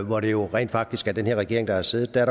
hvor det jo rent faktisk er den her regering der har siddet er